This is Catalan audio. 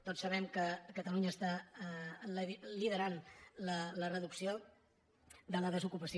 tots sabem que catalunya lidera la reducció de la desocupació